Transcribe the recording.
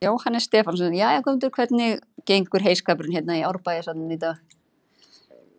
Jóhannes Stefánsson: Jæja, Guðmundur, hvernig gengur heyskapurinn hérna í Árbæjarsafninu í dag?